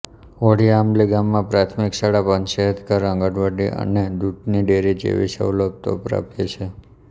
હોળીઆંબલી ગામમાં પ્રાથમિક શાળા પંચાયતઘર આંગણવાડી અને દૂધની ડેરી જેવી સવલતો પ્રાપ્ય છે